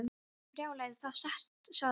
Brjálæði, það er satt sagði hann.